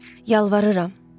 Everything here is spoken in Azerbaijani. Yalvarıram.